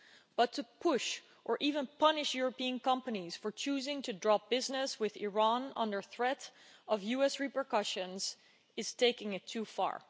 But to push or even punish European companies for choosing to drop business with Iran under threat of US repercussions is taking it too far.